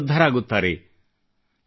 ಸ್ವತ ಸಮೃದ್ಧರಾಗುತ್ತಾರೆ